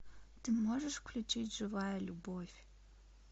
ты можешь включить живая любовь